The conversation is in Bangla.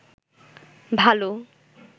ভাল